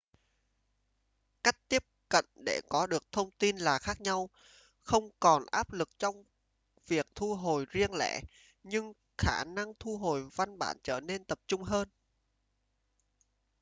cách tiếp cận để có được thông tin là khác nhau không còn áp lực trong việc thu hồi riêng lẻ nhưng khả năng thu hồi văn bản trở nên tập trung hơn